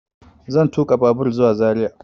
Zan tuƙa babur zuwa zaria